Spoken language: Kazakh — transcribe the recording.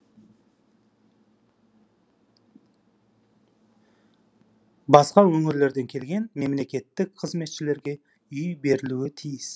басқа өңірлерден келген мемлекеттік қызметшілерге үй берілуі тиіс